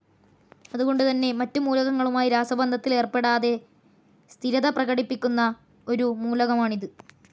അതു കൊണ്ടു തന്നെ മറ്റു മൂലകങ്ങളുമായി രാസബന്ധത്തിലേർപ്പെടാതെ സ്ഥിരത പ്രകടിപ്പിക്കുന്ന ഒരു മൂലകമാണിത്.